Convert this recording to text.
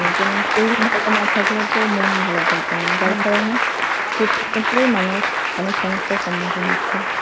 কারণে যেমন শরীর ভালো না থাকলেতো মন ভালো থাকবে না যার কারণে প্রতিনিয়ত মানুষ অনেক সমস্যার সম্মুখীন হচ্ছে।